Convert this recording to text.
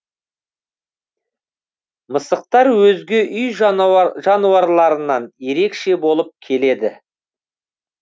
мысықтар өзге үй жануарларынан ерекше болып келеді